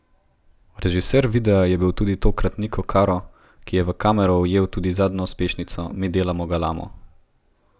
Režiser videa je bil tudi tokrat Niko Karo, ki je v kamero ujel tudi zadnjo uspešnico Mi delamo galamo.